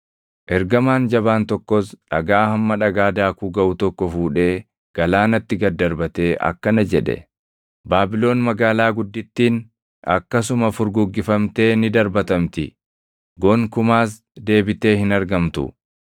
Ergamaan jabaan tokkos dhagaa hamma dhagaa daakuu gaʼu tokko fuudhee galaanatti gad darbatee akkana jedhe: “Baabilon magaalaa guddittiin, akkasuma furguggifamtee ni darbatamti; gonkumaas deebitee hin argamtu.